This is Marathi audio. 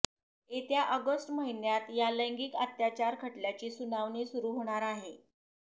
येत्या ऑगस्ट महिन्यात या लैंगिक अत्याचार खटल्याची सुनावणी सुरू होणार आहे